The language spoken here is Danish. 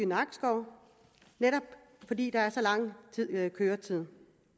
nakskov netop fordi der er så lang køretid